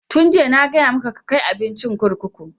Tun jiya na gaya maka ka kai abincin kurkuku!